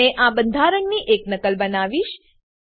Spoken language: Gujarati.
મેં આ બંધારણની એક નકલ બનાવીશ